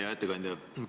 Hea ettekandja!